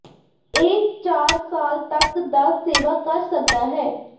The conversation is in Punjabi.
ਇਹ ਚਾਰ ਸਾਲ ਤੱਕ ਦਾ ਸੇਵਾ ਕਰ ਸਕਦਾ ਹੈ